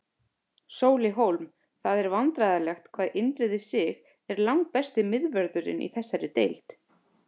Sóli Hólm Það er vandræðalegt hvað Indriði Sig er langbesti miðvörðurinn í þessari deild.